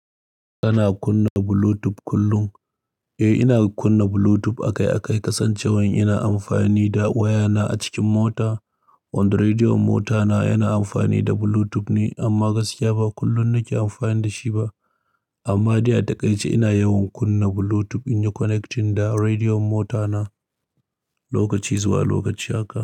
Kana kunna Bluetooth kullum? Eh, ina kunna Bluetooth akai-akai kasancewan ina amfani da wayana a cikin mota, wanda rediyon motana yana amfani da Bluetooth ne amma gaskiya ba kullum nake amfani da shi ba. Amma dai a takaice ina yawan kunna Bluetooth in yi connecting da rediyon motana lokaci zuwa lokaci haka.